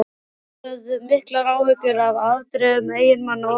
Konurnar höfðu miklar áhyggjur af afdrifum eiginmanna og barna.